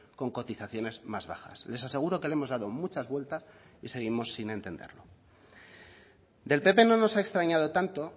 con cotizaciones más bajas les aseguro que le hemos dado muchas vueltas y seguimos sin entenderlo del pp no nos ha extrañado tanto